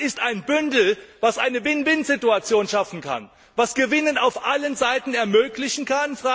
Das ist ein Bündel, das eine Win win Situation schaffen kann, das Gewinne auf allen Seiten ermöglichen kann.